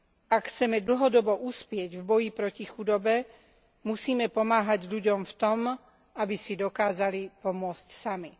Ak chceme dlhodobo uspieť v boji proti chudobe, musíme pomáhať ľuďom v tom, aby si dokázali pomôcť sami.